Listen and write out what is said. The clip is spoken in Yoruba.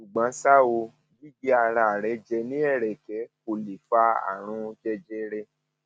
ṣùgbọn ṣá o gígé ara rẹ jẹ ní ẹrẹkẹ kò lè fa àrùn jẹjẹrẹ